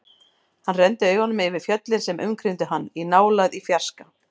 Hann renndi augunum yfir fjöllin sem umkringdu hann, í nálægð, í fjarska.